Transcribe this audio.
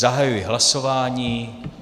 Zahajuji hlasování.